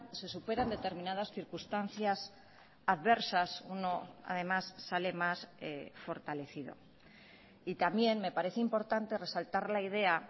se superan determinadas circunstancias adversas uno además sale más fortalecido y también me parece importante resaltar la idea